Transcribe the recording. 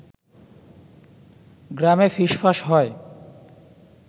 গ্রামে ফিসফাস হয়